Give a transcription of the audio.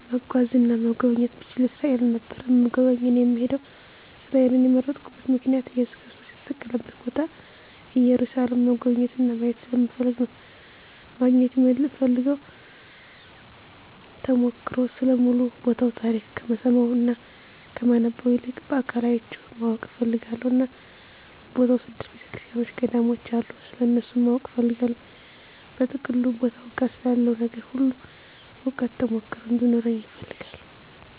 መጓዝ እና መጎብኘት ብችል እስራኤል ነበር እምጎበኝ እና እምሄደዉ። እስራኤልን የመረጥኩበት ምክንያት እየሱስ ክርስቶስ የተሰቀለበትን ቦታ ኢየሩሳሌምን መጎብኘት እና ማየት ስለምፈልግ ነዉ። ማግኘት እምፈልገዉ ተሞክሮ ስለ ሙሉ ቦታዉ ታሪክ ከምሰማዉ እና ከማነበዉ ይልቅ በአካል አይቸዉ ማወቅ እፈልጋለሁ እና በቦታዉ ስድስት ቤተክርሰቲያኖች ገዳሞች አሉ ስለነሱም ማወቅ እፈልጋለሁ። በጥቅሉ ቦታዉ ጋ ስላለዉ ነገር ሁሉ እዉቀት (ተሞክሮ ) እንዲኖረኝ እፈልጋለሁ።